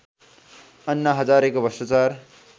अन्ना हजारेको भ्रष्टाचार